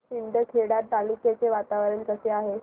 शिंदखेडा तालुक्याचे वातावरण कसे आहे